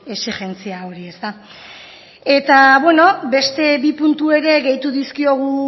exijentzia hori eta beno beste bi puntu ere gehitu dizkiogu